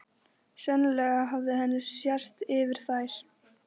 Sennilega hafði henni sést yfir þær.